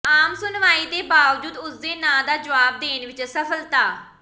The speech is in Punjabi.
ਆਮ ਸੁਣਵਾਈ ਦੇ ਬਾਵਜੂਦ ਉਸਦੇ ਨਾਂ ਦਾ ਜਵਾਬ ਦੇਣ ਵਿੱਚ ਅਸਫਲਤਾ